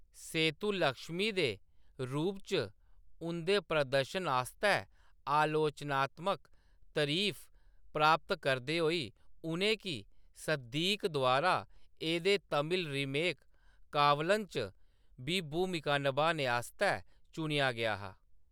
सेतुलक्ष्मी दे रूप च उंʼदे प्रदर्शन आस्तै आलोचनात्मक तरीफ प्राप्त करदे होई, उʼनें गी सिद्दीक़ द्वारा एह्‌‌‌दे तमिल रीमेक, कावलन च बी भूमिका निभाने आस्तै चुनेआ गेआ हा।